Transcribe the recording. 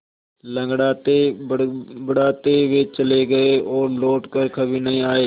लँगड़ाते बड़बड़ाते वे चले गए और लौट कर कभी नहीं आए